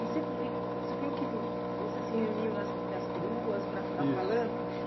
E você me você falou que você se reuniu nas nas peruas para ficar falando. Isso